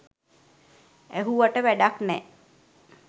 ඇහුවට වැඩක් නෑ